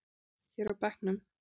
Hér á bekknum.